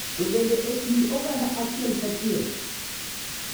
to bende e kind oganda achiel achiel.